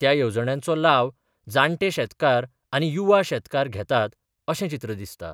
त्या येवजण्यांचो लाव जाणटे शेतकार आनी युवा शेतकार घेतात अशें चीत्र दिसता.